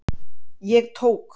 Ég tók